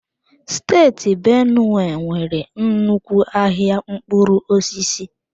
Steeti Benue nwere nnukwu ahịa mkpụrụ osisi.